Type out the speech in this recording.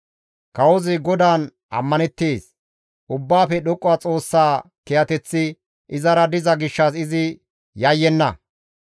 Kawozi GODAAN ammaneettes. Ubbaafe Dhoqqa Xoossa kiyateththi izara diza gishshas izi yayyenna.